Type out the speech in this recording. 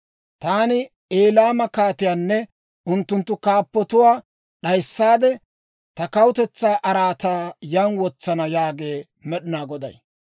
Taani Elaama kaatiyaanne unttunttu kaappotuwaa d'ayissaade, ta kawutetsaa araataa yaan wotsana yaagee Med'inaa Goday.